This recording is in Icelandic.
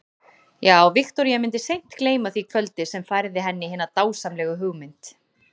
Já, Viktoría mundi seint gleyma því kvöldi sem færði henni hina dásamlegu hugmynd.